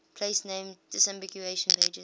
place name disambiguation pages